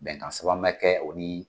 Bɛnkan sɛbɛn ma kɛ o ni